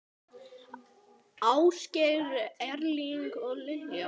Ásgeir Erling og Lilja.